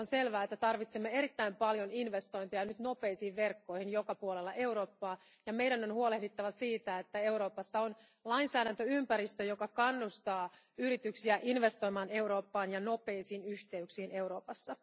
Ja on selvää, että tarvitsemme erittäin paljon investointeja nyt nopeisiin verkkoihin joka puolella Eurooppaa ja meidän on huolehdittava siitä, että Euroopassa on lainsäädäntöympäristö, joka kannustaa yrityksiä investoimaan Eurooppaan ja nopeisiin yhteyksiin Euroopassa.